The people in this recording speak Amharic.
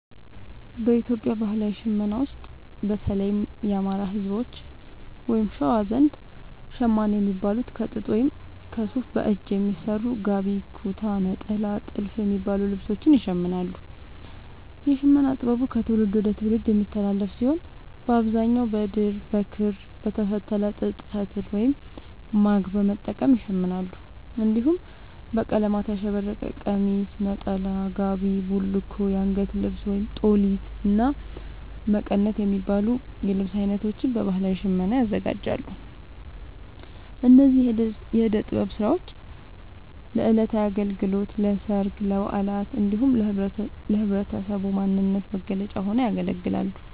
በኢትዮጵያ ባህላዊ ሽመና ውስጥ፣ በተለይም የአማራ፣ ህዝቦች(በሸዋ) ዘንድ ‘ሸማኔ’ የሚባሉት ከጥጥ ወይም ከሱፍ በእጅ በሚሰሩ ‘ጋቢ’፣ ‘ኩታ’፣ ‘ኔጣላ’ እና ‘ቲልፍ’ የሚባሉ ልብሶችን ይሽምናሉ። የሽመና ጥበቡ ከትውልድ ወደ ትውልድ የሚተላለፍ ሲሆን፣ በአብዛኛው በድር፣ በክር፣ በተፈተለ ጥጥ ፈትል(ማግ) በመጠቀም ይሸምናሉ። እንዲሁም በቀለማት ያሸበረቀ ቀሚስ፣ ነጠላ፣ ጋቢ፣ ቡልኮ፣ አንገት ልብስ(ጦሊት)፣እና መቀነት የሚባሉ የልብስ አይነቶችን በባህላዊ ሽመና ያዘጋጃሉ። እነዚህ የእደ ጥበብ ስራዎች ለዕለታዊ አገልግሎት፣ ለሠርግ፣ ለበዓላት እንዲሁም ለህብረተሰቡ ማንነት መገለጫ ሆነው ያገለግላሉ።